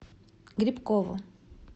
грибкову